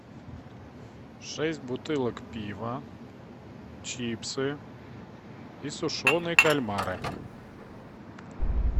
шесть бутылок пива чипсы и сушеные кальмары